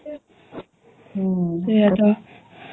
ସେଇୟା ତ ହୁଁ